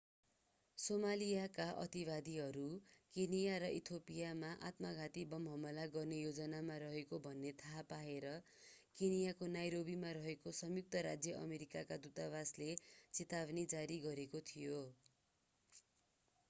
सोमालियाका अतिवादीहरू केन्या र इथियोपियामा आत्मघाती बम हमला गर्ने योजनामा रहेको भन्ने थाहा पाएर केन्याको नैरोबीमा रहेको संयुक्त राज्य अमेरिकाको दूतावासले चेतावनी जारी गरेको थियो